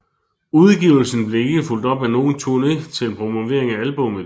Udgivelsen blev ikke fulgt op af nogen turné til promovering af albummet